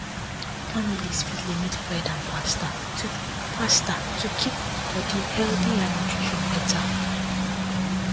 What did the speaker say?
families fit limit bread and pasta to pasta to keep body healthy and nutrition better